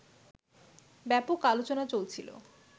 ব্যাপক আলোচনা চলছিল